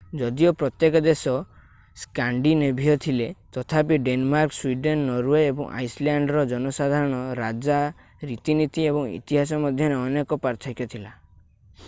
ଯଦିଓ ପ୍ରତ୍ୟେକ ଦେଶ ସ୍କାଣ୍ଡିନେଭୀୟ ଥିଲେ ତଥାପି ଡେନମାର୍କ ସ୍ୱିଡେନ୍ ନରୱେ ଓ ଆଇସଲ୍ୟାଣ୍ଡର ଜନସାଧାରଣ ରାଜା ରୀତିନୀତି ଏବଂ ଇତିହାସ ମଧ୍ୟରେ ଅନେକ ପାର୍ଥକ୍ୟ ଥିଲା i